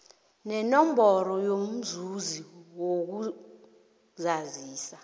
nenomboro yomzuzi yokuzazisa